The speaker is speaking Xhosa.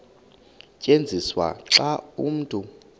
tyenziswa xa umntu